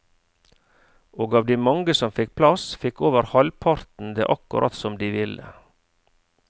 Og av de mange som fikk plass, fikk over halvparten det akkurat som de ville.